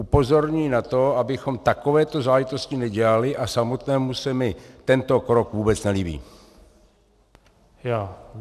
Upozorňuji na to, abychom takovéto záležitosti nedělali, a samotnému se mi tento krok vůbec nelíbí.